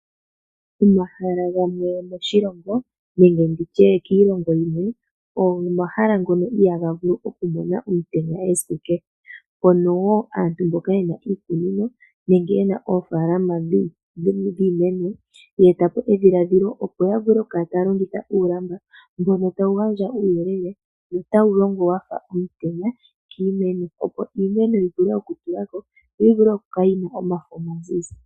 Omahala gamwe moshilongo nenge ndi tye kiilongo yimwe oyo omahala ngono ihaaga vulu oku mona omutenya esiku kehe mpono wo aantu mboka yena iikunino nenge yena oofaalama dhiimeno ye eta po edhiladhilo opo ya vule oku kala taya longitha uulamba mbono tawu gadja uuyelele notawu longo wafa omutenya kiimeno opo iimeno yi vule oku tulako yo yivule oku kala yina omafo omazizi.